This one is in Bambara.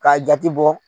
K'a jate bɔ